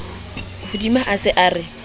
hodima a se a re